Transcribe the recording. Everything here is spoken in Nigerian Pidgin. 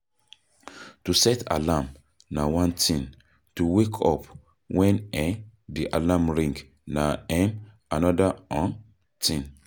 To set alarm na one thing, to wake up when um di alarm ring na um anoda um thing